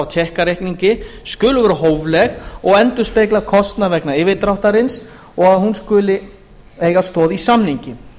tékkareikningi skuli vera hófleg og endurspegla kostnað vegna yfirdráttarins og að hún skuli eiga stoð í samningi